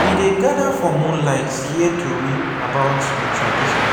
we dey gada for moonlight hear tori about we tradition